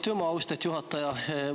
Aitüma, austet juhataja!